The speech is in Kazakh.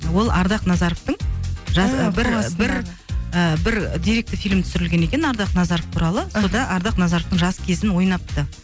ол ардақ назаровтың жас бір бір і бір деректі фильм түсірілген екен ардақ назаров туралы мхм сонда ардақ назаровтың жас кезін ойнапты